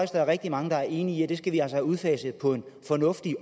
der er rigtig mange der er enige at vi altså skal have udfaset på en fornuftig